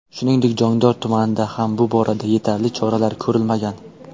Shuningdek, Jondor tumanida ham bu borada yetarli choralar ko‘rilmagan.